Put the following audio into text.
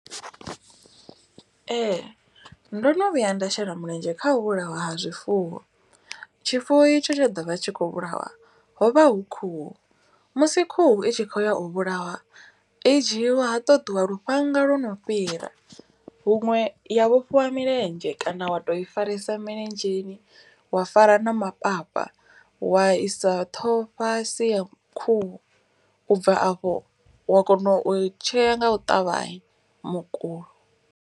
Ee ndo no vhuya nda shela mulenzhe kha u vhulaiwa ha zwifuwo. Tshifuwo itsho tsho ḓovha tshi kho vhulawa hovha hu khuhu. Musi khuhu i tshi khou ya u vhulawa i dzhiiwa ha ṱoḓiwa lufhanga lwo no fhira. Huṅwe ya vhofhiwa milenzhe kana wa to i faresa milenzheni wa fara na mapapa. Wa isa ṱhoho fhasi ya khuhu ubva afho wa kona u i tshea nga u ṱavhanya mukulo.